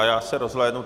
A já se rozhlédnu.